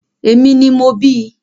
Èmi ni mo bíi